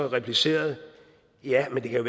replicerede ja men det kan